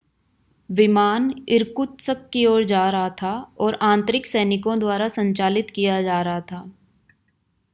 विमान इरकुत्स्क की ओर जा रहा था और आंतरिक सैनिकों द्वारा संचालित किया जा रहा था